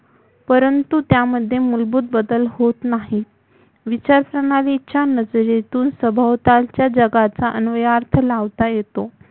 परंतु त्यामध्येे मुलभुत बदल होत नाही विचारप्रणालीच्या नजरेतुन सभोवतालच्या जगाचा अनुयार्थ लावता येतो